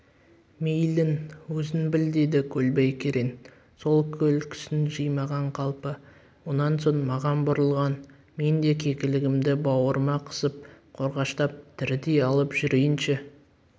мейлің өзің біл деді көлбай керең сол күлкісін жимаған қалпы онан соң маған бұрылған мен де кекілігімді бауырыма қысып қорғаштап тірідей алып жүрейінші